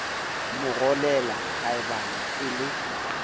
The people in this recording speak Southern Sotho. mo rolela kgaebane e le